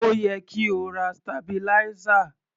Ó yẹ kí o ra sitabiláísà.